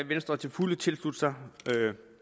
venstre til fulde tilslutte sig